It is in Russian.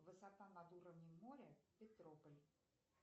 высота над уровнем моря петрополь